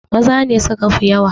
Maza ne suka fi yawa!